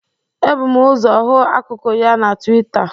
Ebụ m ọzọ hụ akụkụ ya na Twịta.